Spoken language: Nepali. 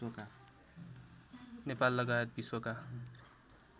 नेपाल लगायत विश्वका